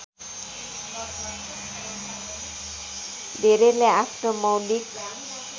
धेरैले आफ्नो मौलिक